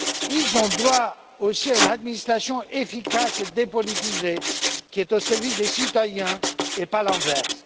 Ils ont droit aussi à une administration efficace et dépolitisée, qui est au service des citoyens et pas l'inverse.